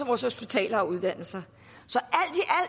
af vores hospitaler og uddannelser